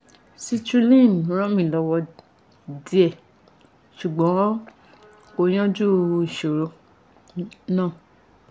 citrulline ràn mí lọ́wọ́ díẹ̀ ṣùgbọ́n kò yanjú ìṣòro náà